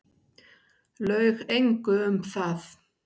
Laug engu um það.